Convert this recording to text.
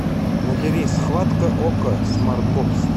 набери схватка окко смартбокс